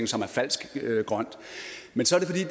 som er falsk grøn